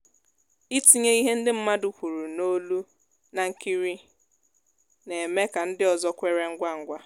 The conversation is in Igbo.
ịtinye ihe ndị mmadụ kwuru n'olu na nkiri na-eme ka ndị ọzọ kweere ngwa ngwa